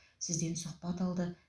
сізден сұхбат алды